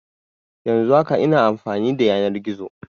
Yanzun haka ina amfani da yanar gizo